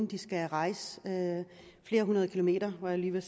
de skal rejse flere hundrede kilometer var jeg lige ved